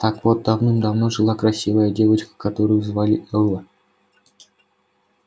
так вот давным-давно жила красивая девочка которую звали элла